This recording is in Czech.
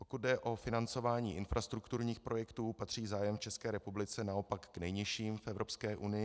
Pokud jde o financování infrastrukturních projektů, patří zájem v České republice naopak k nejnižším v Evropské unii.